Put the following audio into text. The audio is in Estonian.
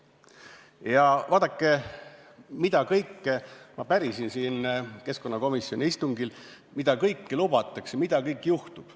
Ja vaadake, mida kõike ma pärisin siin keskkonnakomisjoni istungil, mida kõike lubatakse, mida kõik juhtub.